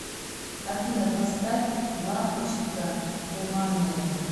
афина поставь лампочкатуманная